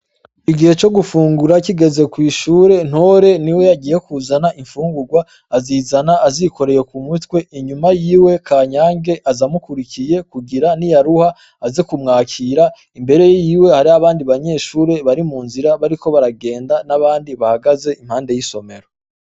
Igihe co gufungura kigeze kw'ishure, Ntore niwe yagiye kuzana imfungurwa, azizana azikoreye ku mutwe, inyuma yiwe Kanyange aza amukurikiye, kugira niyaruha aze kumwakira, imbere yiwe hari abandi banyeshure bari mu nzira bariko baragenda, n'abandi bahagaze impande y'isomero.